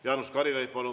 Jaanus Karilaid, palun!